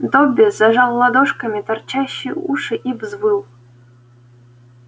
добби зажал ладошками торчащие уши и взвыл